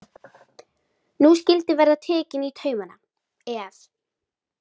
Nú skyldi verða tekið í taumana, ef.